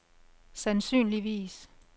sandsynligvis